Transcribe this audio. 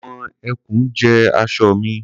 àwọn eku jẹ aṣọ mi